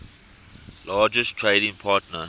largest trading partner